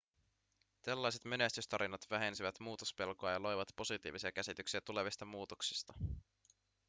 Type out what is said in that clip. tällaiset menestystarinat vähensivät muutospelkoa ja loivat positiivisia käsityksiä tulevista muutoksista